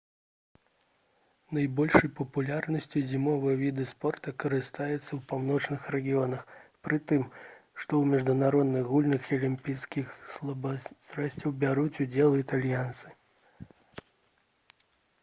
найбольшай папулярнасцю зімовыя віды спорту карыстаюцца ў паўночных рэгіёнах пры тым што ў міжнародных гульнях і алімпійскіх спаборніцтвах бяруць удзел і італьянцы